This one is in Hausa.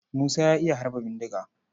Musa ya iya harba bindiga.